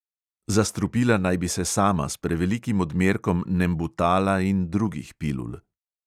Zastrupila naj bi se sama s prevelikim odmerkom nembutala in drugih pilul.